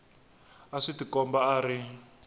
a swi tikombi a ri